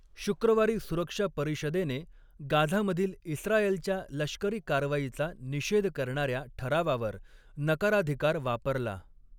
शुक्रवारी सुरक्षा परिषदेने गाझामधील इस्रायलच्या लष्करी कारवाईचा निषेध करणाऱ्या ठरावावर नकाराधिकार वापरला.